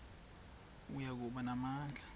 oya kuba namandla